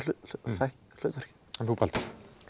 fékk hlutverkið en þú Baldur